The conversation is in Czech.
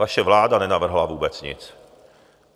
Vaše vláda nenavrhla vůbec nic.